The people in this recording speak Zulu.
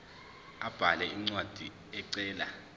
abhale incwadi ecela